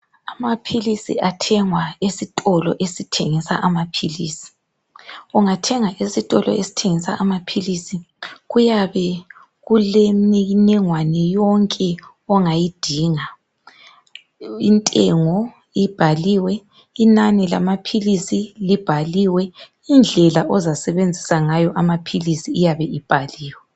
Amaphilisi athengwa esitolo esithengisa amaphilisi. Ungathenga esitolo esithengisa amaphilisi kuyabe kulemniningwane yonke ongayidinga. Intengo ibhaliwe, inani lamaphilisi libhaliwe, indlela ozasebenzisa ngayo amaphilisi iyabe ibhaliwe.